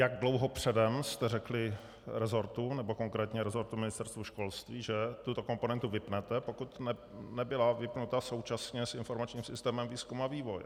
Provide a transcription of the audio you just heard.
Jak dlouho předem jste řekli resortu, nebo konkrétně resortu Ministerstva školství, že tuto komponentu vypnete, pokud nebyla vypnuta současně s informačním systémem výzkumu a vývoje.